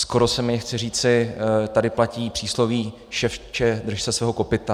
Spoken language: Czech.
Skoro se mi chce říci, tady platí přísloví ševče, drž se svého kopyta.